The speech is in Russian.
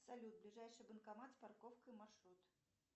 салют ближайший банкомат с парковкой маршрут